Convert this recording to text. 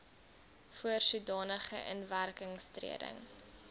voor sodanige inwerkingtreding